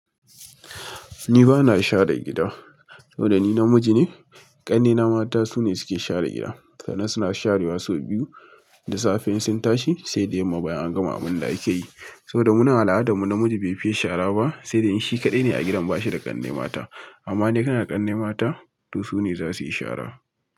Ni ba na share gida. Saboda ni namiji ne, ƙannena mata su ne suke share gida. Kanen suna share wa sau biyu, da safe in sun tashi sai da yamma bayan an gama abun da akeyi. Saboda munan al adar mu namiji bai fiye saraba sai dai in shi kadai ne a gidan bashi da kanne mata amma dai kana da ƙannai mata, to su ne za suyi shara.